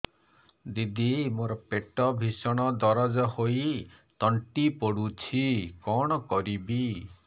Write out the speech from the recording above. ଦିଦି ମୋର ପେଟ ଭୀଷଣ ଦରଜ ହୋଇ ତଣ୍ଟି ପୋଡୁଛି କଣ କରିବି